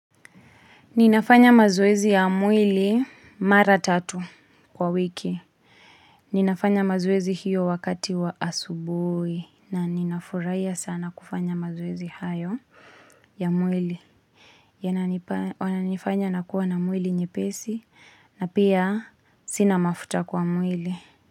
Ninafanya mazoezi ya mwili mara tatu kwa wiki. Ninafanya mazoezi hiyo wakati wa asubuhi na ninafurahia sana kufanya mazoezi hayo ya mwili. Yananifanya nakuwa na mwili nyepesi na pia sina mafuta kwa mwili.